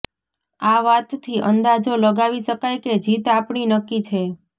આ વાતથી અંદાજો લગાવી શકાય કે જીત આપણી નક્કી છે